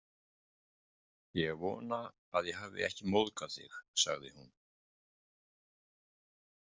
Ég vona að ég hafi ekki móðgað þig, sagði hún.